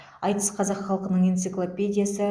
айтыс қазақ халқының энциклопедиясы